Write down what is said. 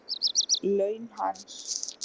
Laun hans?